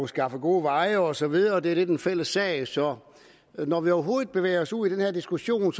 skaffe gode veje og så videre det er lidt en fælles sag så når vi overhovedet bevæger os ud i den her diskussion